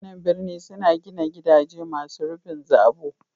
Mutanan birni suna gina gidaje masu rufin zabo.